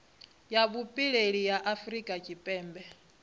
ya vhupileli ya afurika tshipembe